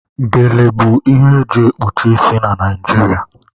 Gele bụ ihe e ji ekpuchi isi Naịjirịa.